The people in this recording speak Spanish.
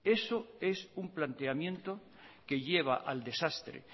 eso es un planteamiento que lleva al desastre